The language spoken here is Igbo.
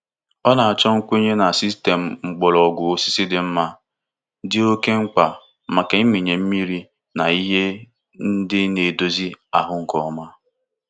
Ọ na-achọ nkwenye na sistemu mgbọrọgwụ osisi dị mma, dị oke mkpa maka ịmịnye mmiri na ihe ndị na-edozi ahụ nke ọma.